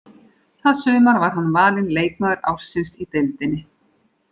Það sumar var hann valinn leikmaður ársins í deildinni.